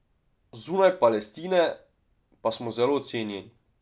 Zunaj Palestine pa smo zelo cenjeni.